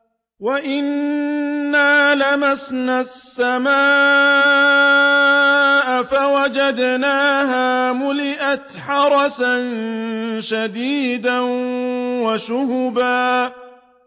وَأَنَّا لَمَسْنَا السَّمَاءَ فَوَجَدْنَاهَا مُلِئَتْ حَرَسًا شَدِيدًا وَشُهُبًا